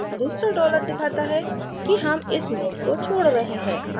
दूसरा dollar दिखाता है कि हम इस mode को mode रहे हैं